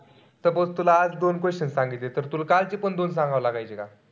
Suppose तुला आज दोन question सांगितले. तर तिला कालचे पण दोन सांगाव लागायचे का?